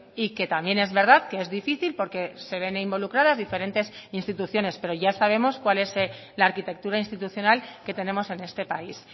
y que también es verdad que es difícil porque se ven involucradas diferentes instituciones pero ya sabemos cuál es la arquitectura institucional que tenemos en este país